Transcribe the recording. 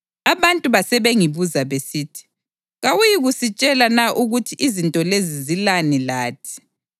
Abantu basebengibuza besithi, “Kawuyikusitshela na ukuthi izinto lezi zilani lathi?”